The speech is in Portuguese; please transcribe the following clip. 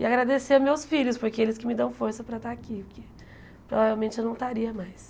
E agradecer meus filhos, porque eles que me dão força para estar aqui, porque provavelmente eu não estaria mais.